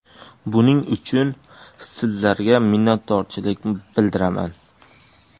Buning uchun sizlarga minnatdorchilik bildiraman.